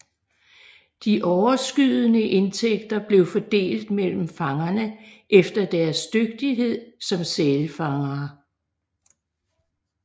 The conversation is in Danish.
De overskydende indtægter blev fordelt mellem fangerne efter deres dygtighed som sælfangere